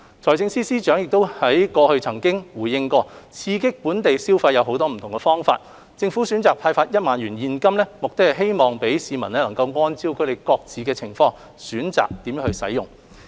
財政司司長過去亦曾回應，刺激本地消費有很多不同方法，政府選擇派發1萬元現金，目的是讓市民按照他們各自的情況，選擇如何使用。